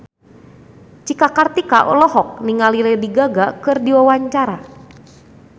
Cika Kartika olohok ningali Lady Gaga keur diwawancara